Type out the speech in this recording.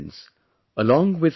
My dear friends,